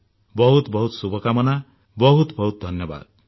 ବହୁତ ବହୁତ ଶୁଭ କାମନା ବହୁତ ବହୁତ ଧନ୍ୟବାଦ